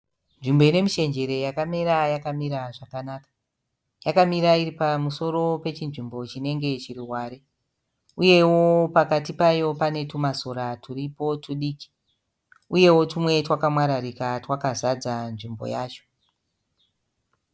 Nzvimbo inemishenjere yakamera yakamira zvakanaka. Yakamira iripamusoro pechinzvimbo chinenge chiruware. Uyewo pakati payo pane tumasora turipo tudiki. Uyewo twumwe twakamwararika twakazadza nzvimbo yacho.